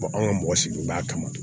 anw ka mɔgɔ sigibaa kama